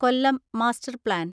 Kollam master plan